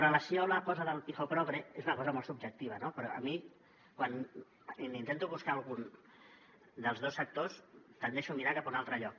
relació a la cosa del pijo progre és una cosa molt subjectiva però a mi quan intento buscar algun dels dos sectors tendeixo a mirar cap a un altre lloc